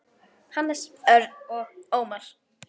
Hannes, Örn og Ómar.